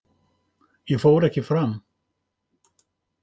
Ég fór ekki fram.